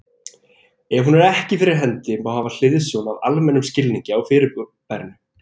Ef hún er ekki fyrir hendi, má hafa hliðsjón af almennum skilningi á fyrirbærinu.